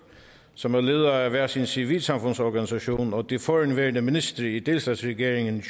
som er ledere af hver sin civilsamfundsorganisation og de forhenværende ministre i delstatsregeringen